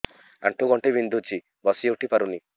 ଆଣ୍ଠୁ ଗଣ୍ଠି ବିନ୍ଧୁଛି ବସିଉଠି ପାରୁନି